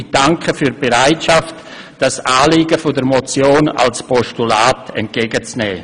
Ich danke für die Bereitschaft, das Anliegen dieses Vorstosses als Postulat entgegenzunehmen.